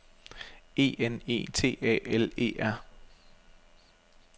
E N E T A L E R